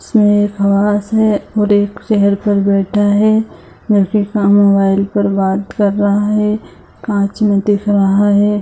इसमें एक है और एक चेयर पर बैठा है जो की का मोबाइल पर बात कर रहा है कांच में देख रहा है।